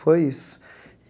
Foi isso.